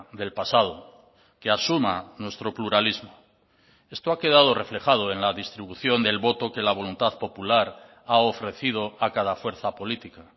del pasado que asuma nuestro pluralismo esto ha quedado reflejado en la distribución del voto que la voluntad popular ha ofrecido a cada fuerza política